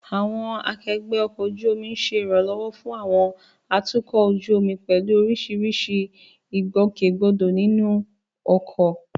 Àwọn akẹgbẹ́ ọkọ̀ ojú omi ń ṣe ìrànlọ́wọ́ fún àwọn atukọ̀ ojú omi pẹ̀lú oríṣiríṣi ìgbòkègbodò nínú ọkọ̀.